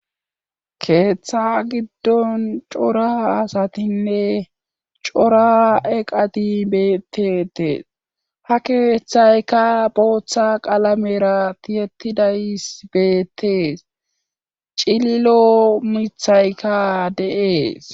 keeththa giddon cora asatinne cora eqati betteetees ha keeththayka booththa qalamerati yettidays beettees cililo mithayka deees